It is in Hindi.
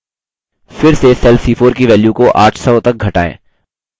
फिर से cell c4 की value को 800 तक घटाएँ